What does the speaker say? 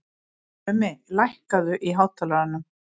Mummi, lækkaðu í hátalaranum.